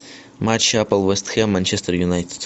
матч апл вест хэм манчестер юнайтед